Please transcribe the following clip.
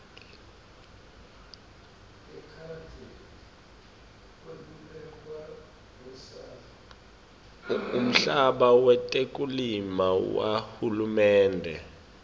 umhlaba wetekulima wahulumende